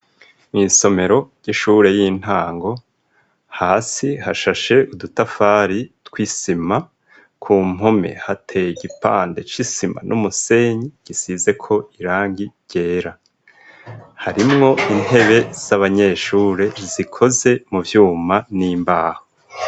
Mw'isomero ry'ishure y'intango hasi hashashe udutafari tw'isima ku mpome hateye igipande c'isima n'umusenyi gisize ko irangi ryera; harimwo intebe z'abanyeshure zikoze mu vyuma n'imbaho.